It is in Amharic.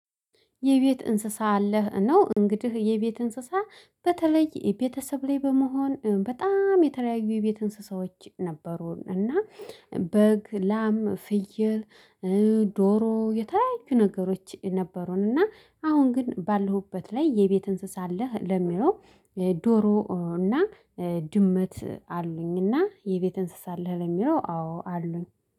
የቤት እንስሳ አለህ ነው እንግዲህ የቤት እንስሳ በተለይ ቤተሰብ ላይ በመሆን በጣም የተለያዩ የቤት እንስሳዎች ነበሩ። እና በግ ላም ፍየል። ዶሮ የተለያዩ ነገሮች ነበሩን። እና አሁን ግን ባለሁበት ላይ የቤት እንስሳ አለህ ለሚለው ዶሮ እና ድመት አሉኝ። እና የቤት እንስሳ አለህ ለሚለው አዎ አሉኝ